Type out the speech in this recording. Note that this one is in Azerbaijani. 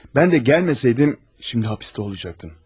Mən də gəlməsəydim, indi həbsdə olacaqdın.